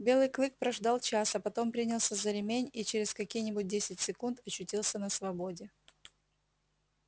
белый клык прождал час а потом принялся за ремень и через какие нибудь десять секунд очутился на свободе